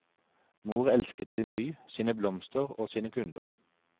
Mor elsket sin by, sine blomster og sine kunder.